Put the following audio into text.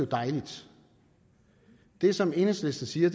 dejligt det som enhedslisten siger